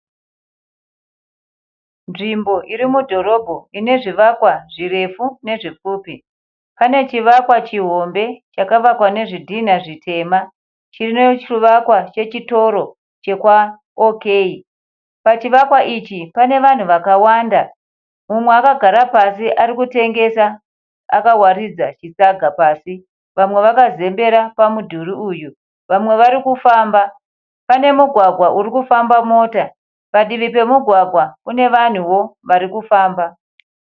Nzvimbo irimudhorobho inezvivakwa zvirefu nezvipfupi, pane chivakwa chihombe chakavakwa nezvidhinha zvitema chinenge chivakwa chechitoro chekwaOK. Pachivakwa ichi pane vanhu vakawanda mumwe akagara pasi arikutengesa akawaridza chisaga pasi vamwe vakazembera pamudhuri uyu vamwe varikufamba. Pane mugwagwa urikufamba mota, padivi pemugwagwa une vanhuwo varikufamba.